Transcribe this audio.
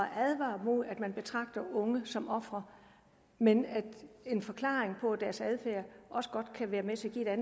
advare imod at man betragter unge som ofre men at en forklaring på deres adfærd også godt kan være med til at